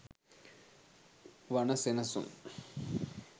වනසෙනසුන්,